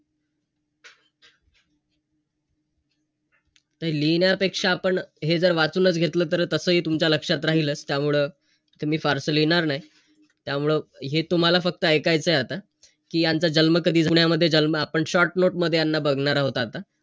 त लिहिण्यापेक्षा आपण हे जर वाचूनच घेतलं तर तसंही टीमच्या लक्षात राहीलच. त्यामुळं, ते मी फारसं लिहिणार नाही. त्यामुळं, हे तुम्हाला फक्त इकायचंय आता. कि यांचा जन्म कधी, पुण्यामध्ये जन्म, आपण short note मध्ये यांना बघणार आहोत आता.